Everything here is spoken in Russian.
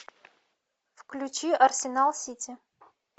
включи арсенал сити